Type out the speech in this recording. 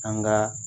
An ka